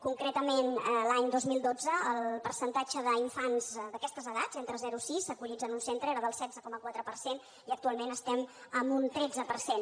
concretament l’any dos mil dotze el percentatge d’infants d’aquestes edats entre zerosis acollits en un centre era del setze coma quatre per cent i actualment estem en un tretze per cent